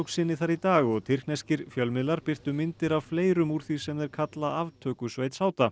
sinni þar í dag og tyrkneskir fjölmiðlar birtu myndir af fleirum úr því sem þeir kalla aftökusveit